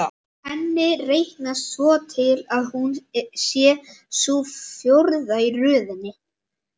Henni reiknast svo til að hún sé sú fjórða í röðinni.